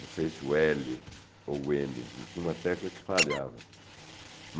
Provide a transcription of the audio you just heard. Não sei se o L ou o M, tinha uma tecla que falhava.